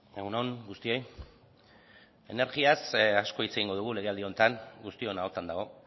egun on guztioi energiaz asko hitz egingo dugu legealdia honetan guztion ahotan dago